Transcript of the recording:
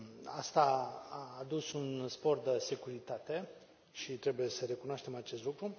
Asta a adus un spor de securitate și trebuie să recunoaștem acest lucru.